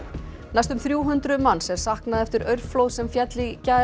næstum þrjú hundruð manns er saknað eftir aurflóð sem féll í gær